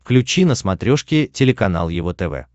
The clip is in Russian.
включи на смотрешке телеканал его тв